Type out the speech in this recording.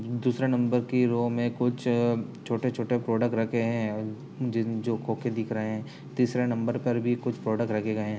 दूसरा नंबर की रो में कुछ छोटे-छोटे प्रोडक् रखे हैं जीम-जो खोखे दिख रहे हैं। तीसरे नंबर पर भी कुछ प्रोडक् रखे गए हैं।